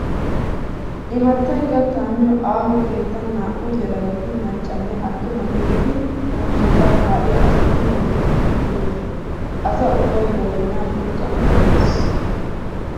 Imattay kattaa miyo aaho keettan naa"u yelagati macca nne attuma gididi muzunqqaa kaa'iya asatun doodettidi duroosona. Asa ubbay ba doonaa curqqan kammiis.